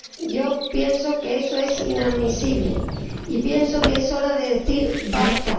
Yo pienso que eso es inadmisible y pienso que es hora de decir ¡basta!